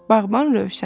Bağban Rövşən.